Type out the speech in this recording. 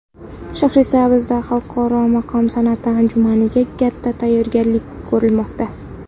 Shahrisabzda xalqaro maqom san’ati anjumaniga katta tayyorgarlik ko‘rilmoqda .